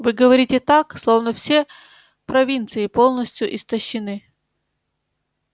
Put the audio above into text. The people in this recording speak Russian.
вы говорите так словно все провинции полностью истощены